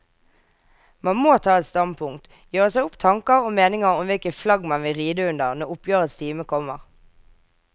Man må ta et standpunkt, gjøre seg opp tanker og meninger om hvilket flagg man vil ride under når oppgjørets time kommer.